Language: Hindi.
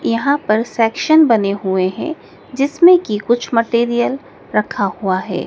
यहां पर सेक्शन बने हुए हैं जिसमें की कुछ मटेरियल रखा हुआ है।